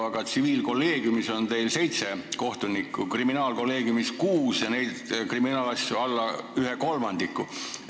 Aga tsiviilkolleegiumis on teil seitse kohtunikku, kriminaalkolleegiumis kuus, kuigi kriminaalasju on alla ühe kolmandiku.